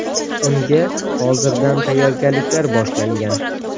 Unga hozirdan tayyorgarliklar boshlangan.